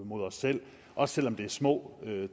mod os selv også selv om det er små